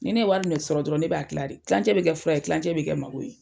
Ni ne wari min sɔrɔ dɔrɔn ne b'a kilan de. kilancɛ be kɛ fura ye, kilancɛ be kɛ mako ye.